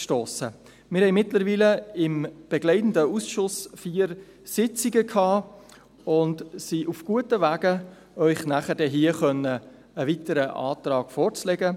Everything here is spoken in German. Mittlerweile hatten wir mit dem begleitenden Ausschuss vier Sitzungen und sind auf einem guten Weg, um Ihnen hier später einen weiteren Antrag vorzulegen.